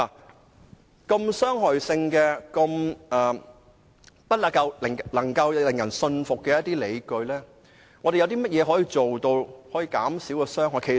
如此具傷害性的安排及不能令人信服的理據，我們可以做甚麼來減少傷害呢？